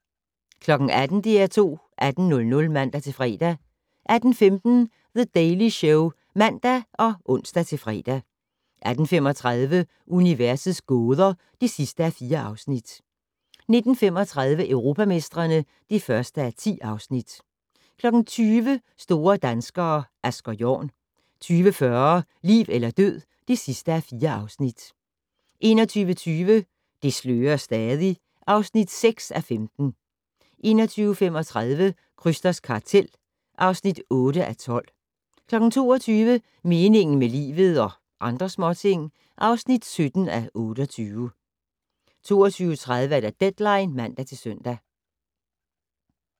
18:00: DR2 18:00 (man-fre) 18:15: The Daily Show (man og ons-fre) 18:35: Universets gåder (4:4) 19:35: Europamestrene (1:10) 20:00: Store danskere - Asger Jorn 20:40: Liv eller død (4:4) 21:20: Det slører stadig (6:15) 21:35: Krysters kartel (8:12) 22:00: Meningen med livet - og andre småting (17:28) 22:30: Deadline (man-søn)